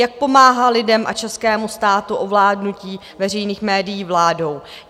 Jak pomáhá lidem a českému státu ovládnutí veřejných médií vládou?